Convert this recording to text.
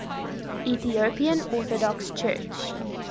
ethiopian orthodox church